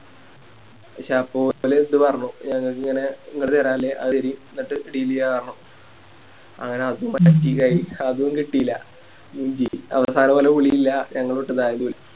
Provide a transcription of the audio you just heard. പക്ഷെ അപ്പൊ പറഞ്ഞു ഞങ്ങക്കിങ്ങനെ തെരനില്ലേ അത് തരി എന്നിട്ട് Deal ചെയ്യാന്ന് പറഞ്ഞു അങ്ങനെ അതും കിട്ടില്ല മൂഞ്ചി അവസാനം ഞങ്ങളിട്ട് വാരി